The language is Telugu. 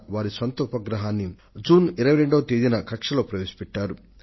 వారు సొంతంగా ఒక ఉపగ్రహాన్ని తయారు చేవారు